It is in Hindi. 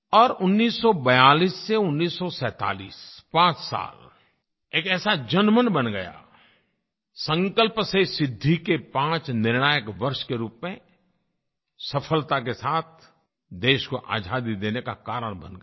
और 1942 से 1947 पाँच साल एक ऐसा जनमन बन गया संकल्प से सिद्धि के पाँच निर्णायक वर्ष के रूप में सफलता के साथ देश को आज़ादी देने का कारण बन गए